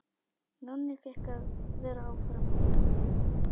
Nonni fékk að vera áfram.